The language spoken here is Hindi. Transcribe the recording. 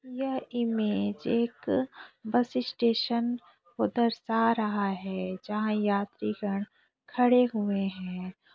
यह इमेज एक बस स्टेशन को दर्शा रहा है जहाँ यात्री गण खड़े हुए है।